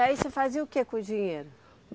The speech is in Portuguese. E aí você fazia o que com o dinheiro?